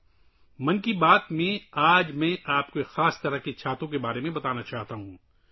آج ’من کی بات‘ میں میں آپ کو ایک خاص قسم کی چھتریوں کے بارے میں بتانا چاہتا ہوں